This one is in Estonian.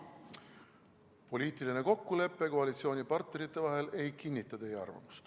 Poliitiline kokkulepe koalitsioonipartnerite vahel ei kinnita teie arvamust.